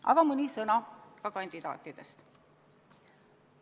Aga mõni sõna ka kandidaatidest.